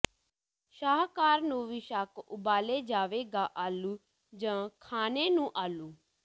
ਸ਼ਾਹਕਾਰ ਨੂੰ ਵੀ ਸ਼ੱਕ ਉਬਾਲੇ ਜਾਵੇਗਾ ਆਲੂ ਜ ਖਾਣੇਨੂੰ ਆਲੂ